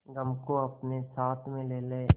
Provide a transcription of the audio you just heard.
गम को अपने साथ में ले ले